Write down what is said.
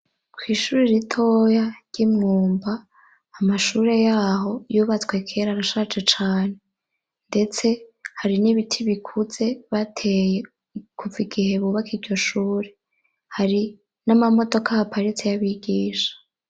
Kw'ishuri ritoya ry'imwumba amashure yaho yubatswe kera arashaje cane, ndetse hari n'ibiti bikuze bateye kuva igihe bubaka iryo shure hari n'amamodoko ahaparitsi y'abigisha.